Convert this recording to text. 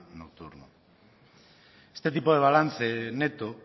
nocturno este tipo de balance neto